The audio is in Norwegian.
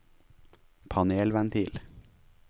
panelventil